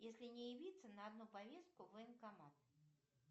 если не явиться на одну повестку в военкомат